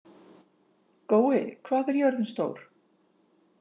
Gói, hvað er jörðin stór?